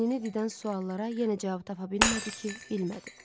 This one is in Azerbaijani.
Beynini didən suallara yenə cavab tapa bilmədi ki, bilmədi.